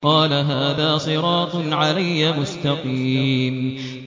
قَالَ هَٰذَا صِرَاطٌ عَلَيَّ مُسْتَقِيمٌ